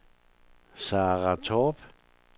Sara Torp